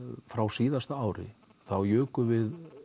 frá síðasta ári þá jukum við